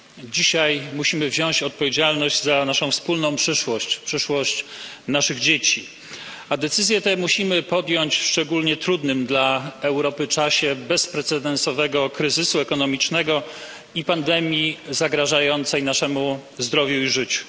Dzisiaj musimy wziąć odpowiedzialność za naszą wspólną przyszłość, przyszłość naszych dzieci, a decyzję tę musimy podjąć w szczególnie trudnym dla Europy czasie bezprecedensowego kryzysu ekonomicznego i pandemii zagrażającej naszemu zdrowiu i życiu.